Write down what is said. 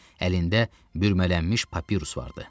Əlində bürəmələnmiş papirus vardı.